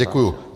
Děkuji.